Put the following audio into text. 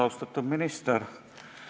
Austatud minister!